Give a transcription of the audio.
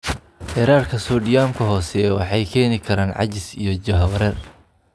Heerarka soodhiyamka hooseeya waxay keeni karaan caajis iyo jahawareer.